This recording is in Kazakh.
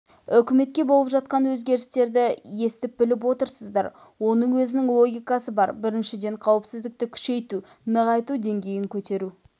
үкіметте болып жатқан өзгерістерді естіп-біліп отырсыздар оның өзінің логикасы бар біріншіден қауіпсіздікті күшейту нығайту деңгейін көтеру